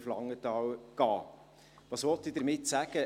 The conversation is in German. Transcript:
Was will ich damit sagen?